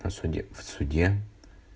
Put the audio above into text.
на суде в суде